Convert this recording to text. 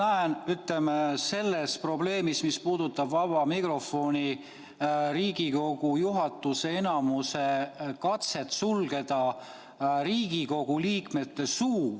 Ma näen selles probleemis, mis puudutab vaba mikrofoni, Riigikogu juhatuse enamuse katset sulgeda Riigikogu liikmete suu.